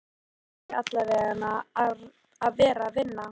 Hann ætti allavega að vera að vinna.